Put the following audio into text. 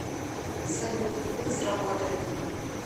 салют это сработает